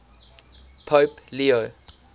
pope leo